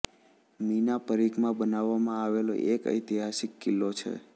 મી ના પરિઘમાં બનાવવામાં આવેલો એક ઐતિહાસિક કિલ્લો છે